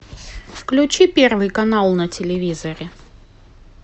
включи первый канал на телевизоре